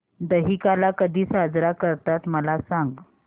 दहिकाला कधी साजरा करतात मला सांग